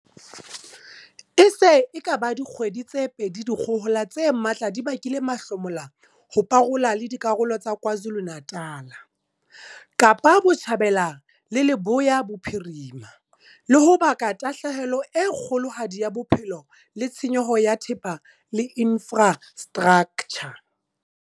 E se e ka ba dikgwedi tse pedi dikgohola tse matla di bakile mahlomola ho parola le dikarolo tsa Kwa Zulu-Natal, Kapa Botjhabela le Leboya Bophirima, le ho baka tahlehelo e kgolohadi ya bophelo le tshenyo ya thepa le infra straktjha.